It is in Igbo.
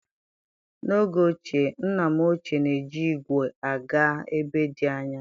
N'oge ochie, nna m ochie na-eji ígwè aga ebe dị anya.